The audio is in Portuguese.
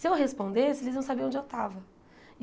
Se eu respondesse, eles iam saber onde eu estava.